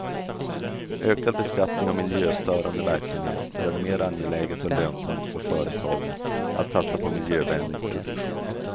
Ökad beskattning av miljöstörande verksamhet gör det mer angeläget och lönsamt för företagen att satsa på miljövänlig produktion.